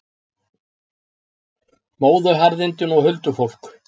Móðuharðindin og huldufólk